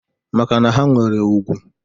Maka na ha nwere ùgwù.